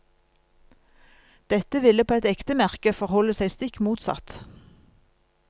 Dette ville på et ekte merke forholde seg stikk motsatt.